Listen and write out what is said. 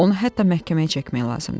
Onu hətta məhkəməyə çəkmək lazımdır.